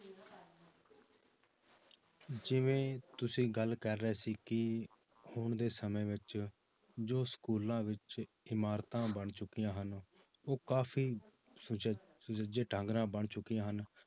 ਜਿਵੇਂ ਤੁਸੀਂ ਗੱਲ ਕਰ ਰਹੇ ਸੀ ਕਿ ਹੁਣ ਦੇ ਸਮੇਂ ਵਿੱਚ ਜੋ schools ਵਿੱਚ ਇਮਾਰਤਾਂ ਬਣ ਚੁੱਕੀਆਂ ਹਨ ਉਹ ਕਾਫ਼ੀ ਸੁਚ~ ਸੁਚੱਜੇ ਢੰਗ ਨਾਲ ਬਣ ਚੁੱਕੀਆਂ ਹਨ